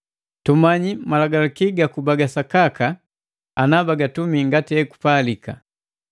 Tumanyi sapi malagalaki ga sakaka, ngati natumi ekupalika.